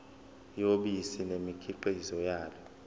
yobisi nemikhiqizo yalo